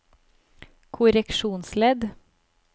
korreksjonsledd